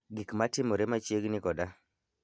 Gik matimore machiegni koda